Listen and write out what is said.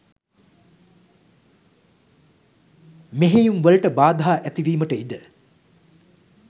මෙහෙයුම් වලට බාධා ඇතිවීමට ඉඩ